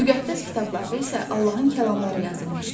Müqəddəs kitablarda isə Allahın kəlamları yazılmışdı.